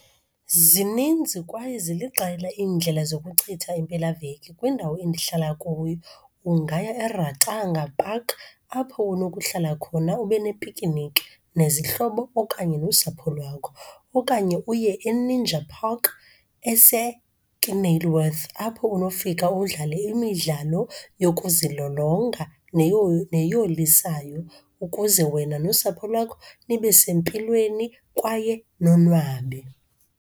Zininzi kwaye ziliqela iindlela zokuchitha impelaveki kwindawo endihlala kuyo. Ungaya eRatanga Park apho unokuhlala khona ube nepikiniki nezihlobo okanye nosapho lwakho. Okanye uye eNinja Park eseKenilworth apho unofika udlale imidlalo yokuzilolonga neyolisayo ukuze wena nosapho lwakho nibe sempilweni kwaye nonwabe.